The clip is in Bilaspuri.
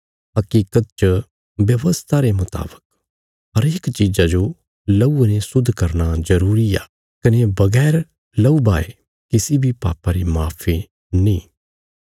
हकीकत च व्यवस्था रे मुतावक हरेक चीज़ा जो लहूये ने शुद्ध करना जरूरी आ कने बगैर लहू बहाये किसी बी पापा री माफी नीं